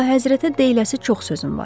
Əlahəzrətə deyiləsi çox sözüm var.